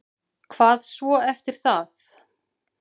Hvað svo eftir það?